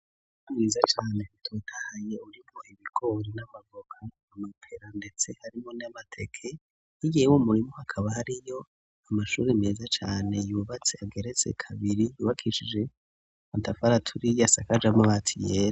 Ikirasi ikinini ya cane gifise yimpomi zisize ko amarang iyera, ndetse kwizo mpumeka bamaditse ko ibipapuro vyinshi cane bishushanijeko abanyeshuri bage barashushanyako, kandi imbere mw'ico kirasi hariyo intebe nyinshi cane n'amameza menshi cane udutebe dutututwirabuwe.